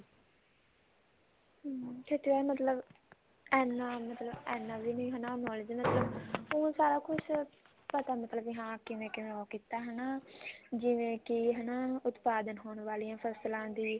ਅਮ ਖਖੇਤੀਬਾੜੀ ਮਤਲਬ ਇੰਨਾ ਮਤਲਬ ਇੰਨਾ ਵੀ ਨੀ knowledge ਮਤਲਬ ਊਂ ਪਤਾ ਮਤਲਬ ਕੇ ਹਾਂ ਕਿਵੇਂ ਕਿਵੇਂ ਉਹ ਕੀਤਾ ਜਿਵੇਂ ਕੀ ਹਨਾ ਉਤਪਾਦਨ ਹੋਣ ਵਾਲੀਆਂ ਫਸਲਾਂ ਦੀ